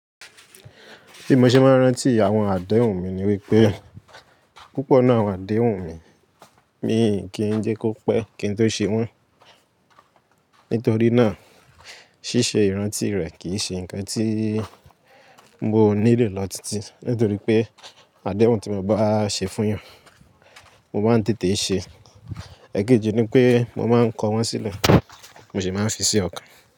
Bí mo ṣe máa ń rántí àwọn àdéhùn mi ni wípé, púpọ̀ ninu àwọn àdéhùn mi, mi kì í jẹ́ kó pẹ́ kí n tó ṣe wọ́n. Nítorí náà, ṣíṣe ìrántí rẹ̀ kì í ṣe nǹkan tí mo nílò lọ títí, nítorí pé àdéhùn tí mo bá ṣe fún yan, mo máa ń tètè ṣe. Ẹ̀kejì ni pé mo máa ń kọ wọ́n sílẹ̀, mo sì máa ń fi sí ọkàn.